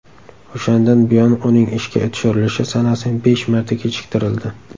O‘shandan buyon uning ishga tushirilishi sanasi besh marta kechiktirildi.